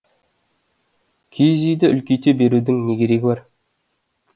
киіз үйді үлкейте берудің не керегі бар